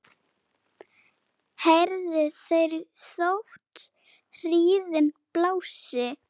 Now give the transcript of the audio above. heyrðu þeir þótt hríðin blási